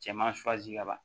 Cɛman ka ban